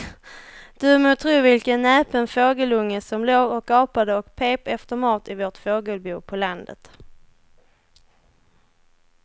Du må tro vilken näpen fågelunge som låg och gapade och pep efter mat i vårt fågelbo på landet.